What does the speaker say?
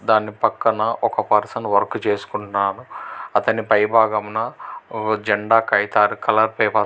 దాని పక్కన ఒక పర్సన్ వర్క్ చేసుకుంటున్నారు అతనిపై భాగమున ఓ జెండా కాగితా కలర్స్ --